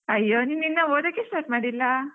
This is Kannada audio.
ಅಯ್ಯೋ ನೀನ್ ಇನ್ನ ಓದಕ್ಕೆ start ಮಾಡ್ಲಿಲ್ಲ?